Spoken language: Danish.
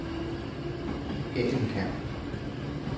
Hagelkær